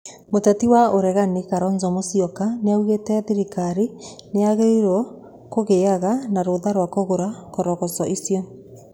Mũteti wa ũregani Karonzo Mũcioka nĩaugĩte thirikari nĩagĩrĩirwo kũgĩaga na rũtha rwa kũgũra koroco icio.